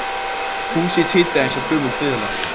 Húsið titraði eins og gömul fiðla